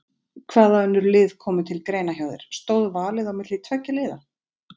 Hvaða önnur lið komu til greina hjá þér, stóð valið á milli tveggja liða?